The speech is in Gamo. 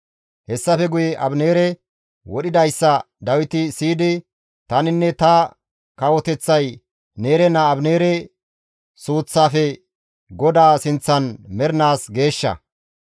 Hessafe guye Abineere wodhidayssa Dawiti siyidi, «Taninne ta kawoteththay Neere naa Abineere suuththafe GODAA sinththan mernaas geeshsha.